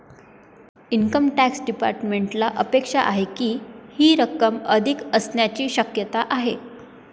Income tax डिपार्टमेंटला अपेक्षा आहे की, ही रक्कम अधिक असण्याची शक्यता आहे.